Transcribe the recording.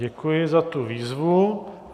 Děkuji za tu výzvu.